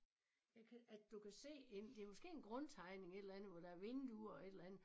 Jeg kan at du kan se en det måske en grundtegning et eller andet hvor der er vinduer et eller andet